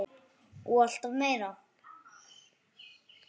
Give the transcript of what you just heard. Og alltaf meira.